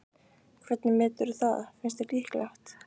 Hvernig meturðu það, finnst þér líklegt?